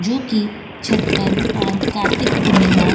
जो की छठ पर और कार्तिक पूर्णिमा --